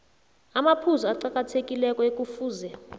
amaphuzu aqakathekileko ekufuze